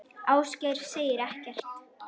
Ásgeir segir ekkert.